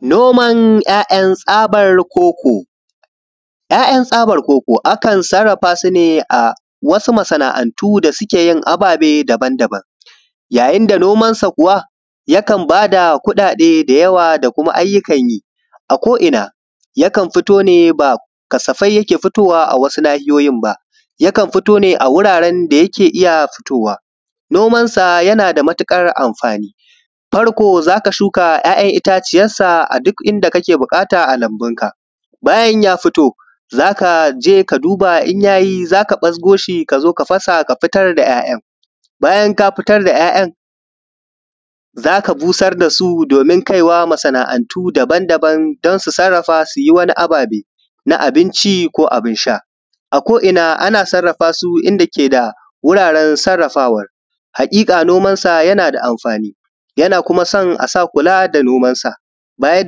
Noman ‘ya’yan tsafar koko, ‘ya’yan tsabar koko akan saraffa su ne a wasu masana’antu da suke yin ababe daban-daban, yayin da noman sa kuwa, yakan bada kuɗaɗe da yawa, da kuma ayyukan yi a ko’ian, yakan fito ne ba kasafai yake fitowa a wasu nahiyoyin ba, yakan fitowa a wuraren da yake iya fitowa. Noman sa yana da matuƙar amfani, farko za ka shuka ‘ya’yan itatuwansa a duk inda kake buƙata a lambun ka, bayan ya fito za ka je ka duba in yai, za ka bazgo shi, kazo ka fasa ka fitar da ‘ya’yan, bayan ka fitar da ‘ya’yan, za ka zo ka busar da su, domin kaiwa masana’antu dabandaba don su saraffa su, yi wannan ababe na abinci ko abin sha a ko ina ana saraffa su, inda ake da abun saraffawar. Haƙiƙa noman sa yana da amfani, yana kuma san asa kula da noman sa, baya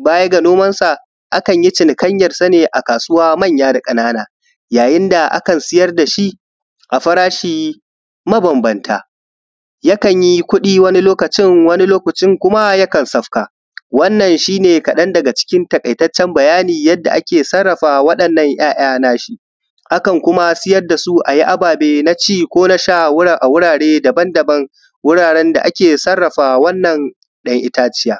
baga noman sa akan yi cinikanyan sa ne a kasuwa, manya da ƙanana, yawanci akan yi ana siyar da shi a farashi mabanbanta, yakan yakan yi kuɗi wani lokacin wannan lokacin kuma yakan sauka. Wannan shi ne kaɗan taƙaitaccen bayani yanda ake saraffa waɗanan ‘ya’ya nashi akanyi siyar da shu ababe na ci ko na sha wura a wurare da ake saraffa wannan ɗan itaciya:.